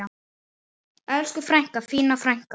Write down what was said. Elsku frænka, fína frænka.